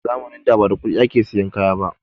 A zamanin da ma da kuɗi ake sayan kaya ba